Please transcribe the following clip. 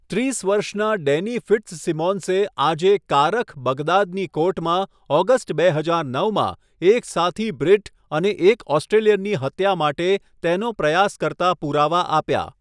ત્રીસ વર્ષના ડેની ફિટ્ઝસિમોન્સે આજે કારખ, બગદાદની કોર્ટમાં ઓગસ્ટ બે હજાર નવમાં એક સાથી બ્રિટ અને એક ઓસ્ટ્રેલિયનની હત્યા માટે તેનો પ્રયાસ કરતા પુરાવા આપ્યા.